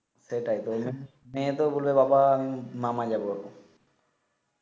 সেটাই এ তো বলে বাবা আমি মামা যাব